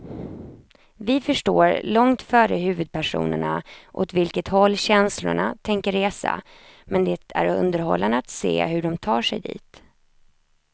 Vi förstår långt före huvudpersonerna åt vilket håll känslorna tänker resa, men det är underhållande att se hur de tar sig dit.